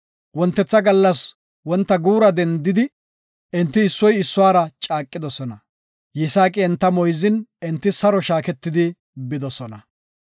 Wontetha gallas wonta guura dendidi enti issoy issuwara caaqidosona. Yisaaqi enta moyzin, enti saro shaaketidi bidosona.